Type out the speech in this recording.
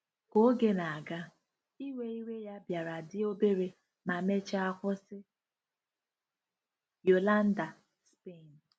Ka oge na-aga, iwe iwe ya bịara dị obere ma mechaa kwụsị. ”— Yolanda, Spain.